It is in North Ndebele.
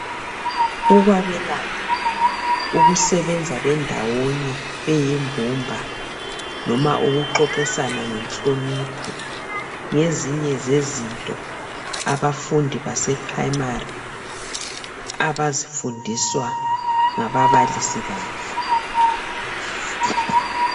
Ukwabelana, ukusebenza bendawonye beyimbumba. Noma ukuxoxisana ngenhlonipho, ngezinye zezinto abafundi baseprimary, abazifundiswa ngababalisi babo.